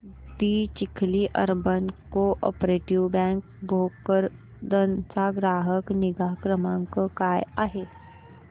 दि Chikhli urban cooperative bank Bhokardan चा ग्राहक निगा क्रमांक काय आहे